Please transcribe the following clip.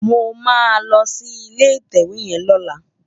Mó má lò si ilé itèwé yèn lòlá